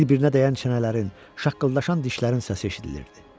Bir-birinə dəyən çənələrin, şaqqıldaşan dişlərin səsi eşidilirdi.